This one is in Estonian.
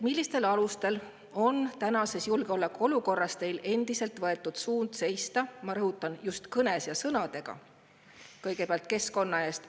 Mille alusel on tänases julgeolekuolukorras teil endiselt võetud suund seista – ma rõhutan: just kõnes ja sõnades – kõigepealt keskkonna eest?